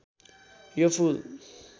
यो फूल